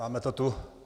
Máme to tu.